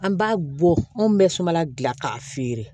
An b'a bɔ mun bɛ sumala dilan k'a feere